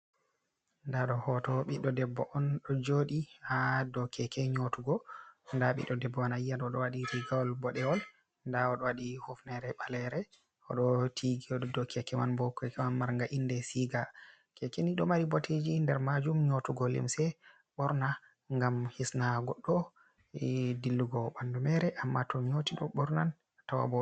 Nda ɗo hoto Ɓiɗɗo debbo on ɗo joɗi ha dow keke nyotugo nda Ɓiɗɗo debbo ayi yan oɗo waɗi rigawol boɗewol nda oɗo waɗi hufnere balere, oɗo tigi oɗo dow keke man bo keke wa marnga inde siga keke ni ɗo mari mboteji nder majum nyotugo limse borna ngam hisna goɗɗo dillugo bandu mere amma to nyoti ɗo ɓorna a tawan bo.